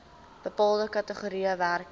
bepaalde kategorieë werkers